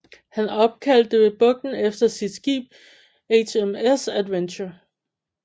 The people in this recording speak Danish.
Han opkaldte bugten efter sit skib HMS Adventure